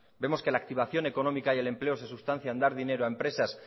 vemos que la activación económica y el empleo se sustancia en dar dinero a empresas